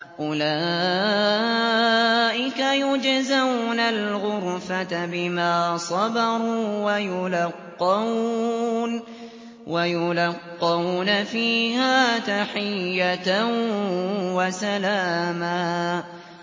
أُولَٰئِكَ يُجْزَوْنَ الْغُرْفَةَ بِمَا صَبَرُوا وَيُلَقَّوْنَ فِيهَا تَحِيَّةً وَسَلَامًا